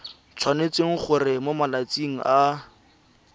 tshwanetse gore mo malatsing a